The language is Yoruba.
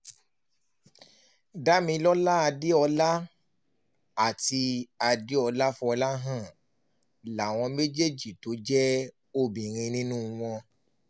damilola adeola àti adeola foláhàn láwọn méjì tó jẹ́ obìnrin nínú wọn